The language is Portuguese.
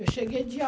Eu cheguei dia